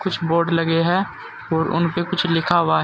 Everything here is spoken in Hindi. कुछ बोर्ड लगे हैं और उन पर कुछ लिखा हुआ है।